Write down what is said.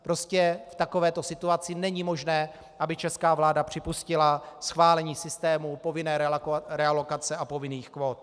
Prostě v takovéto situaci není možné, aby česká vláda připustila schválení systému povinné realokace a povinných kvót.